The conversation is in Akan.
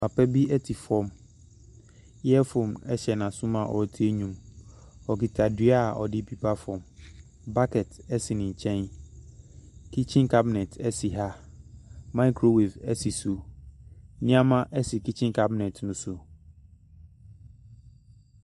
Papa bi te fam, earphone hyɛ n’aso mu a ɔretie nnwom, okita dua a ɔde repepa famu, bucket si ne nkyɛn. kitchen cabinets si ha, microwave si so, nneɛma si kitchen cabinets ne so.